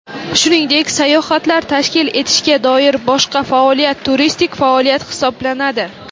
shuningdek sayohatlar tashkil etishga doir boshqa faoliyat turistik faoliyat hisoblanadi.